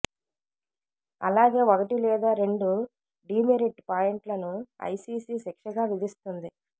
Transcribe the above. అలాగే ఒకటి లేదా రెండు డీమెరిట్ పాయింట్లను ఐసీసీ శిక్షగా విధిస్తుంది